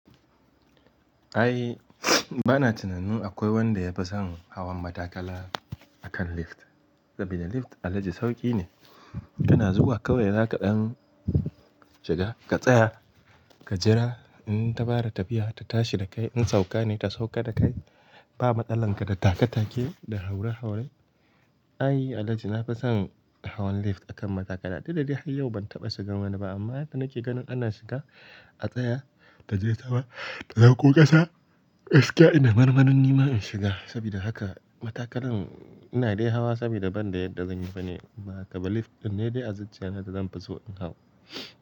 Ai bana tunanin akwai wanda ya fi son hawan matakala akan lift. Saboda lift Alhaji sauki ne, tana zuwa kawai za kaɗan shiga, ka tsaya, ka jira in ta fara tafiya ta tashi da kai, in sauka ne ta sauka da kai. Ba matsalar ka da take take da haure haure. Ai Alhaji na fi son hawan lift akan matakala. Duk da dai har yau ban taɓa shiga wani ba amma yadda nake ganin ana shiga a tsaya ta je sama ta sauko ƙasa, gaskiya ina marmarin nima in shiga. Saboda haka matakalan ina dai hawa saboda ban da yadda zan yi ba ne. Ko ba haka ba lift din ne dai a zuciyana yanzu da zan fi so in hau.